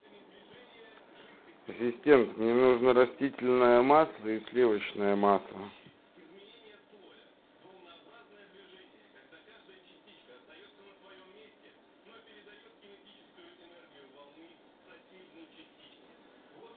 ассистент мне нужно растительное масло и сливочное масло